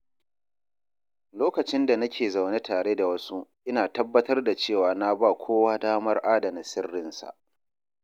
Lokacin da nake zaune tare da wasu, ina tabbatar da cewa na ba kowa damar adana sirrinsa.